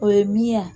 O ye min ye